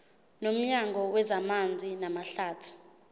nomnyango wezamanzi namahlathi